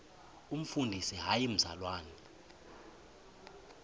umfundisi hayi mzalwana